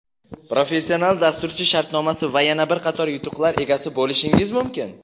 professional dasturchi shartnomasi va yana bir qator yutuqlar egasi bo‘lishingiz mumkin!.